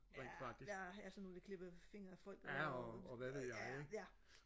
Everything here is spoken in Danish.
ja ja ja sådan nogle der klippede fingre af folk ja ja